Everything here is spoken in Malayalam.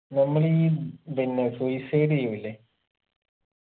നമ്മൾ ഈ പിന്നെ suicide ചെയ്യുന്നില്ലേ